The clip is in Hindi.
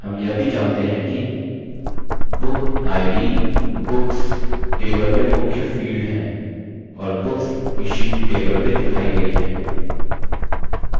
हम यह भी जानते हैं कि book id books table में मुख्य field है और books issued table में दिखाई गयी है